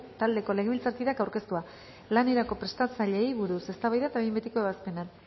taldeko legebiltzarkideak aurkeztua lanerako prestatzaileei buruz eztabaida eta behin betiko ebazpena